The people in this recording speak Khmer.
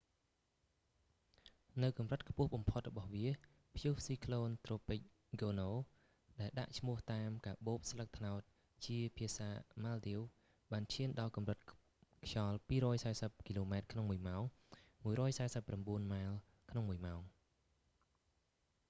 នៅកម្រិតខ្ពស់បំផុតរបស់វា ព្យុះស៊ីក្លូន​ត្រូពិក​ ហ្គោនូ tropical cyclone gonuដែល​​​ដាក់ឈ្មោះតាម​កាបូបស្លឹកត្នោតជាភាសាម៉ាល់ឌីវ​ ​បានឈាន​ដល់កម្រិតខ្យល់ 240 គីឡូម៉ែត្រក្នុងមួយម៉ោង 149 ម៉ាលយ៍​ ក្នុងមួយម៉ោង ។